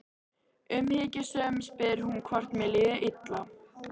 Umhyggjusöm spyr hún hvort mér líði illa.